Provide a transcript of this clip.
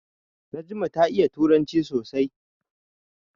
Najma ta iya turanci sosai.